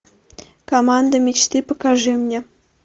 команда мечты покажи мне